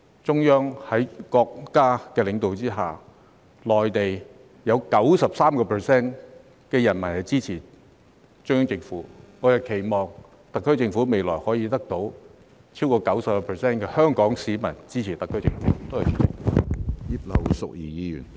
在國家領導人的管治下，內地有 93% 人民是支持中央政府的；我們期望特區政府未來亦可以得到超過 90% 香港市民的支持。